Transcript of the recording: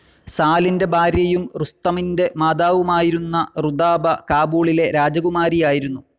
സാലിന്റെ ഭാര്യയും റുസ്തമിന്റെ മാതാവുമായിരുന്ന റുദാബ, കാബൂളിലെ രാജകുമാരിയായിരുന്നു.